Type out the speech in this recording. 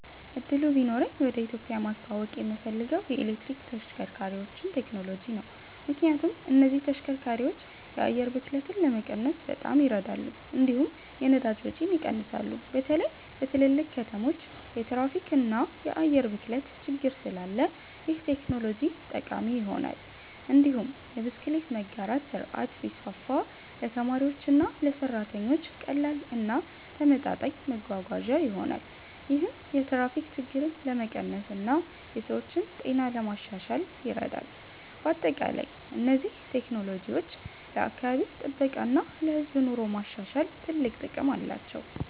እድሉ ቢኖረኝ ወደ ኢትዮጵያ ማስተዋወቅ የምፈልገው የኤሌክትሪክ ተሽከርካሪዎችን ቴክኖሎጂ ነው። ምክንያቱም እነዚህ ተሽከርካሪዎች የአየር ብክለትን ለመቀነስ በጣም ይረዳሉ፣ እንዲሁም የነዳጅ ወጪን ይቀንሳሉ። በተለይ በትልልቅ ከተሞች የትራፊክ እና የአየር ብክለት ችግር ስላለ ይህ ቴክኖሎጂ ጠቃሚ ይሆናል። እንዲሁም የብስክሌት መጋራት ስርዓት ቢስፋፋ ለተማሪዎችና ለሰራተኞች ቀላል እና ተመጣጣኝ መጓጓዣ ይሆናል። ይህም የትራፊክ ችግርን ለመቀነስ እና የሰዎችን ጤና ለማሻሻል ይረዳል። በአጠቃላይ እነዚህ ቴክኖሎጂዎች ለአካባቢ ጥበቃ እና ለህዝብ ኑሮ ማሻሻል ትልቅ ጥቅም አላቸው።